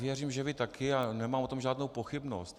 Věřím, že vy také, a nemám o tom žádnou pochybnost.